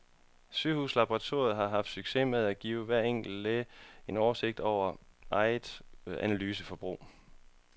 Sygehuslaboratoriet har haft succes med at give hver enkelt læge en oversigt over eget analyseforbrug.